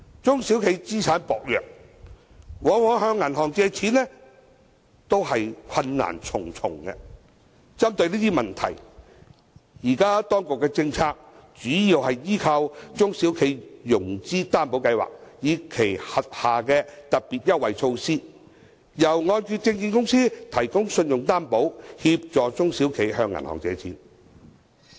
中小企資產薄弱，往往向銀行借錢都是困難重重，針對這些問題，現時當局的政策主要依靠"中小企融資擔保計劃"，以及其轄下的"特別優惠措施"，由按揭證券公司提供信用擔保，協助中小企向銀行借錢。